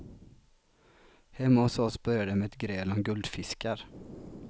Hemma hos oss började det med ett gräl om guldfiskar.